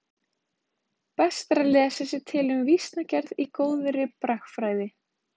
Best er að lesa sér til um vísnagerð í góðri bragfræði.